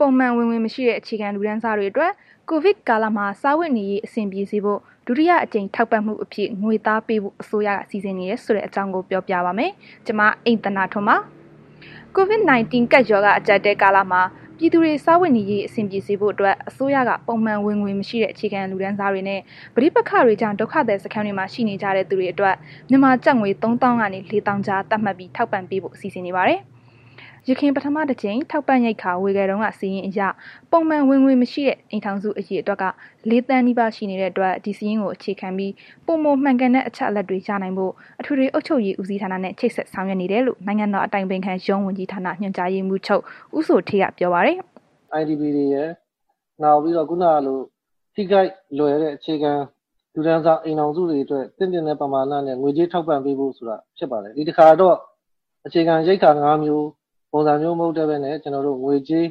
ပုံမှန်ဝင်ငွေမရှိတဲ့ အခြေခံလူတန်းစားတွေအတွက် COVID ကာလမှာ စားဝတ်နေရေး အဆင်ပြေစေဖို့ ဒုတိယအကြိမ်ထောက်ပံ့မှုအဖြစ် ငွေသားပေးဖို့ အစိုးရက စီစဉ်နေတယ်ဆိုတဲ့အကြောင်းကို ပြောပြပါမယ်။ ဒီအကြောင်း ဗွီအိုအေမြန်မာပိုင်းသတင်းထောက် မအိမ့်သန္တာထွန်းက တင်ပြပေးပါမယ်။ COVID 19 ကပ်ရောဂါ အကြပ်အတည်းကာလမှာ ပြည်သူတွေ စားဝတ်နေရေးအဆင်ပြေစေဖို့အတွက် အစိုးရက ပုံမှန်ဝင်ငွေမရှိတဲ့ အခြေခံလူတန်းစားတွေနဲ့ ပဋိပက္ခတွေကြောင့် ဒုက္ခသည်စခန်းတွေမှာရှိနေကြတဲ့သူတွေအတွက် မြန်မာငွေကျပ် ၃၀,၀၀၀ ကနေ ၄၀,၀၀၀ ကြား သတ်မှတ်ပြီး ထောက်ပံ့ပေးဖို့ စီစဉ်နေပါတယ်။ ယခင် ပထမတစ်ကြိမ်ထောက်ပံ့ရိက္ခာ ဝေခဲ့တုန်းက စာရင်းအရ ပုံမှန်ဝင်ငွေမရှိတဲ့ အိမ်ထောင်စု အရေအတွက်က ၄ သန်းနီးပါးရှိတဲ့အတွက် ဒီစာရင်းကိုအခြေခံပြီး ပိုမိုမှန်ကန်တဲ့ အချက်အလက်တွေရနိုင်ဖို့ အထွေထွေအုပ်ချုပ်ရေး ဦးစီးဌာနနဲ့ ချိတ်ဆက်ဆောင်ရွက်နေတယ်လို့ နိုင်ငံတော်အတိုင်ပင်ခံရုံးဝန်ကြီးဌာန ညွှန်ကြားရေးမှုးချုပ် ဦးဇော်ဌေးက ပြောခဲ့ပါတယ်။ “IDP တွေရယ်နောက်ပြီးတော့ ခုနကလို ထိခိုက်လွယ်တဲ့ အခြေခံလူတန်းစား အိမ်ထောင်စုတွေအတွက် သင့်တင့်တဲ့ ပမာဏနဲ့ ငွေကြေးထောက်ပံ့ပေးဖို့ ဆိုတာဖြစ်ပါတယ်။ ဒီတခါ အခြေခံရိက္ခာ ၅ မျိုးဆိုတာမျိုး မဟုတ်တော့ဘဲနဲ့ ကျနော်တို့ ငွေကြေး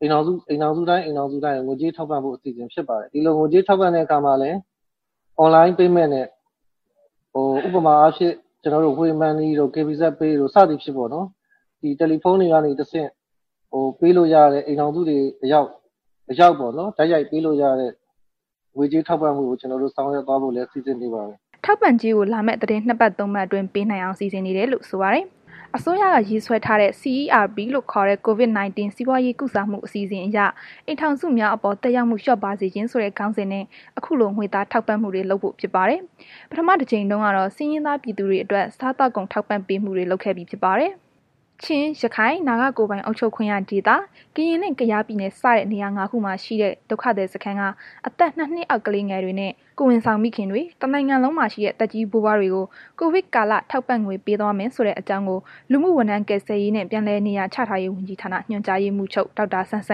ကို အိမ်ထောင်စုတိုင်း အိမ်ထောင်စုတိုင်းကို ငွေကြေးထောက်ပံ့ဖို့ အစီအစဉ် ဖြစ်ပါတယ်။ ငွေကြေးထောက်ပံ့တဲ့ အခါမှာလည်း online payment နဲ့ ဥပမာအားဖြင့် ကျနော်တို့ Wave Money တို့ KBZ Pay တို့ စသဖြင့်ပေါ့နော်။ ဒီ တယ်လီဖုန်းတွေကနေတစ်ဆင့် ပေးလို့ရတဲ့ အိမ်ထောင်စုတွေဆီအရောက် ပေါ့နှော် တိုက်ရိုက်ပေးလို့ရတဲ့ ငွေကြေးထောက်ပံ့မှုမျိုးကို ကျနော်တို့ ဆောင်ရွက်သွားဖို့လည်း စီစဉ်နေပါတယ်။” ထောက်ပံ့ကြေးကို လာမယ့် သီတင်းနှစ်ပတ် သုံးပတ်အတွင်း ပေးနိုင်အောင် စီစဉ်နေတယ်လို့ ဆိုပါတယ်။ အစိုးရက ရေးဆွဲထားတဲ့ CERP လို့ခေါ်တဲ့ COVID-19 စီးပွားရေးကုစားမှုအစီအစဉ်အရ အိမ်ထောင်စုများအပေါ် သက်ရောက်မှုလျော့ပါးစေခြင်းဆိုတဲ့ ခေါင်းစဉ်နဲ့ အခုလို ငွေသားထောက်ပံ့မှုတွေ လုပ်ဖို့ဖြစ်ပါတယ်။ ပထမတကြိမ်တုန်းကတော့ ဆင်းရဲသားပြည်သူတွေအတွက် စားသောက်ကုန်ထောက်ပံ့မှု လုပ်ပေးခဲ့ပြီးဖြစ်ပါတယ်။ ချင်း၊ ရခိုင်၊ နာဂကိုယ်ပိုင်အုပ်ချုပ်ခွင့်ရဒေသ၊ ကရင်နှင့် ကယား ပြည်နယ်စတဲ့ နေရာငါးခုမှာရှိတဲ့ ဒုက္ခသည်စခန်းက အသက် ၂ နှစ်အောက် ကလေးငယ်တွေနဲ့ ကိုယ်ဝန်ဆောင်မိခင်တွေ၊ တစ်နိုင်ငံလုံးမှာရှိတဲ့ သက်ကြီး ဘိုးဘွားတွေကို COVID ကာလ ထောက်ပံ့ငွေ ပေးသွားမယ်ဆိုတဲ့ အကြောင်းကို လူမှုဝန်ထမ်းကယ်ဆယ်ရေးနှင့် ပြန်လည်နေရာချထားရေး ဝန်ကြီးဌာန ညွှန်ကြားရေးမှုးချုပ် ဒေါက်တာ စန်းစ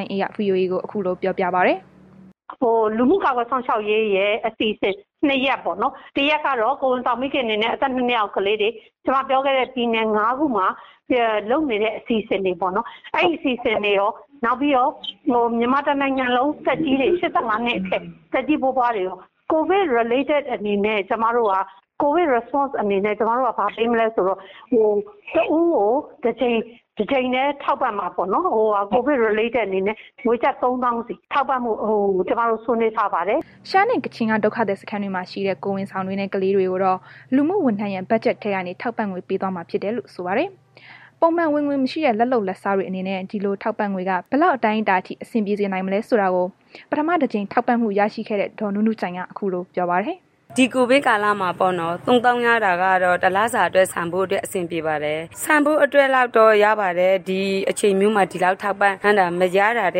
န်းအေးက VOA ကို ခုလို ပြောပြပါတယ်။ “လူမှုကာကွယ်စောင်ရှောက်ရေးရဲ့ အစီအစဉ် နှစ်ရပ်ပေါ့နော်။ တစ်ရပ်ကတော့ ကိုယ်ဝန်ဆောင်မိခင်တွေနဲ့ အသက် ၂ နှစ်အောက်ကလေးတွေ ကျမပြောခဲ့တဲ့ ပြည်နယ် ၅ ခုမှာ လုပ်နေတဲ့ အစီအစဉ်တွေပေါ့နှော်။ အဲ့ဒီအစီအစဉ်တွေရော နောက်ပြီးတော့ မြန်မာတစ်နိုင်ငံလုံး ၈၅ နှစ်အထက် သက်ကြီးဘိုးဘွားတွေရော COVID Related အနေနဲ့ ကျမတို့က ဘာပေးမလဲဆိုတော့ တစ်ဦးကို တစ်ကြိမ်တည်းထောက်ပံ့မှာပေါ့နော်။ COVID Related အနေနဲ့ ငွေကျပ် ၃၀,၀၀၀ စီ ထောက်ပံ့ဖို့ ကျမတို့ ဆွေးနွေးထားပါတယ်။” ရှမ်းနှင့် ကချင်က ဒုက္ခသည်စခန်းတွေမှာရှိတဲ့ ကိုယ်ဝန်ဆောင်တွေနဲ့ ကလေးတွေကိုတော့ လူမှုဝန်ထမ်းရဲ့ ဘတ်ဂျက်ထဲကနေ ထောက်ပံ့ငွေ ပေးသွားမှာဖြစ်တယ်လို့ ဆိုပါတယ်။ ပုံမှန်ဝင်ငွေမရှိတဲ့ လက်လုပ်လက်စားတွေအနေနဲ့ ဒီလို့ ထောက်ပံ့ငွေက ဘယ်လောက် အတိုင်းအတာထိ အဆင်ပြေစေနိုင်မလဲဆိုတာကို ပထမ တစ်ကြိမ် ထောက်ပံ့မှုရခဲ့တဲ့ ဒေါ်နုနုကြိုင်က ခုလိုပြောပါတယ်။ “ဒီကိုဗစ်ကာလမှာ ၃၀,၀၀၀ ရတာကတော့ တစ်လစာအတွက် ဆန်ဖိုးတော့ အဆင်ပြေပါတယ်၊ ဆန်ဖိုးလောက်တော့ ရပါတယ်၊ ဒီအချိန်လောက်မှာ ဒီလောက်ထောက်ပံ့တာ မရတာထ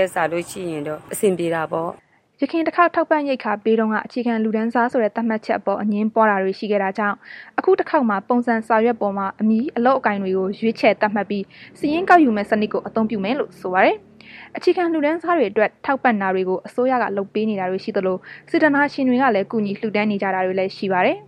က်စာရင်တော့ အဆင်ပြေတာပေါ့။” ယခင်တစ်ခေါက် ထောက်ပံ့ရိက္ခာပေးတုန်းက အခြေခံလူတန်းစားသတ်မှတ်ချက်အပေါ် အငြင်းပွားတာတွေ ရှိခဲ့တာကြောင့် အခုတစ်ခေါက်မှာ ပုံစံစာရွက်ပေါ်မှာ အမည် အလုပ်အကိုင်တွေကို ရွေးချယ်သတ်မှတ်ပြီး စာရင်းကောက်ယူမယ့် စနစ်ကို အသုံးပြုမယ်လို့ ဆိုပါတယ်။ အခြေခံလူတန်းစားတွေအတွက် ထောက်ပံ့တာတွေကို အစိုးရက လုပ်ပေးနေတာတွေရှိသလို စေတနာရှင်တွေကလည်း ကူညီလှူဒါန်းနေတာတွေလည်း ရှိပါတယ်။